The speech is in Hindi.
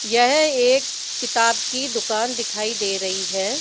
यह एक किताब की दुकान दिखाई दे रही है।